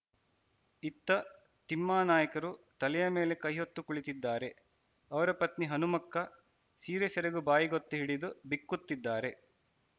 ಇತ್ತ ತಿಮ್ಮಾನಾಯಕರು ತಲೆಯಮೇಲೆ ಕೈಹೊತ್ತು ಕುಳಿತಿದ್ದಾರೆ ಅವರಪತ್ನಿ ಹನುಮಕ್ಕ ಸೀರೆಸೆರಗು ಬಾಯಿಗೊತ್ತಿಹಿಡಿದು ಬಿಕ್ಕುತ್ತಿದ್ದಾರೆ